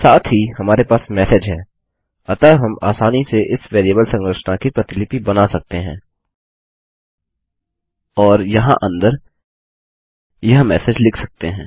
साथ ही हमारे पास मेसेज है अतः हम आसानी से इस वेरिएबल संरचना की प्रतिलिपि बना सकते हैं और यहाँ अंदर यह मेसेज लिख सकते हैं